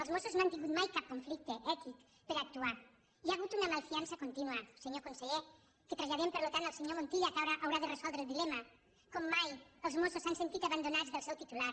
els mossos no han tingut mai cap conflicte ètic per actuar hi ha hagut una malfiança contínua senyor con·seller que traslladem per tant al senyor montilla que haurà de resoldre el dilema com mai els mossos s’han sentit abandonats del seu titular